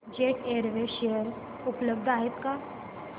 jet airways share उपलब्ध आहेत का